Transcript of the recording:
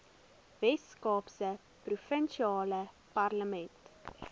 weskaapse provinsiale parlement